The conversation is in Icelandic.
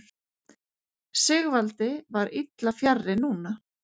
Sigvaldi var illa fjarri núna.